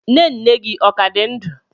Nne nne gi o ka di ndu?